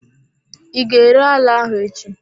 I ga-ere ala ahụ echi?